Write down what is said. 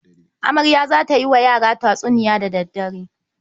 Amarya za ta yi wa yara tatsuniya da dare.